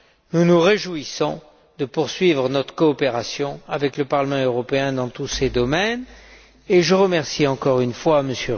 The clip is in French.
Nous nous réjouissons de poursuivre notre coopération avec le Parlement européen dans tous ces domaines et je remercie encore une fois M.